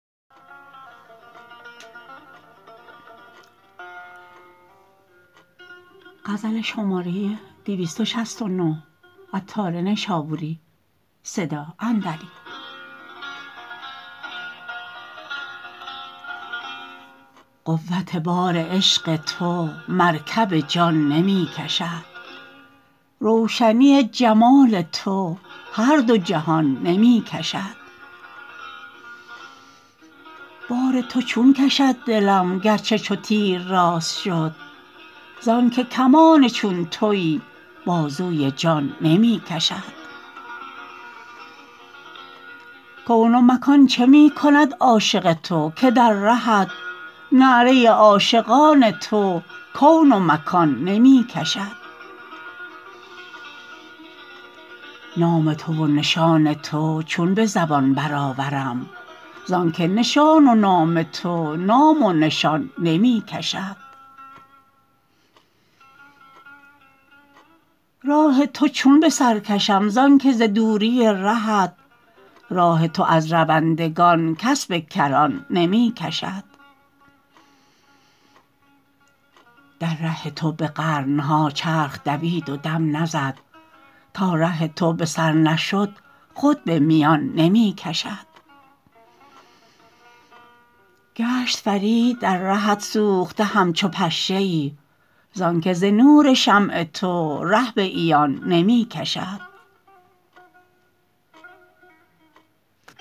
قوت بار عشق تو مرکب جان نمی کشد روشنی جمال تو هر دو جهان نمی کشد بار تو چون کشد دلم گرچه چو تیر راست شد زانکه کمان چون تویی بازوی جان نمی کشد کون و مکان چه می کند عاشق تو که در رهت نعره عاشقان تو کون و مکان نمی کشد نام تو و نشان تو چون به زبان برآورم زانکه نشان و نام تو نام و نشان نمی کشد راه تو چون به سرکشم زانکه ز دوری رهت راه تو از روندگان کس به کران نمی کشد در ره تو به قرن ها چرخ دوید و دم نزد تا ره تو به سر نشد خود به میان نمی کشد گشت فرید در رهت سوخته همچو پشه ای زانکه ز نور شمع تو ره به عیان نمی کشد